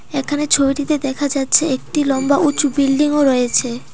এখানে ছবিটিতে দেখা যাচ্ছে একটি লম্বা উঁচু বিল্ডিং -ও রয়েছে।